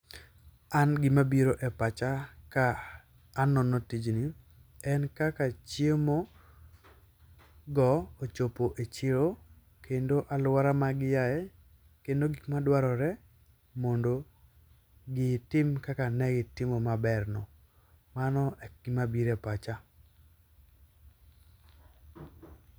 An gima biro e pacha kaneno tijni en kaka chiemogo ochopo e chiro kendo aluora ma giaye kendo gik madwarore mondo gitim kaka ne gitimo maberno. Mano e gima biro e pacha.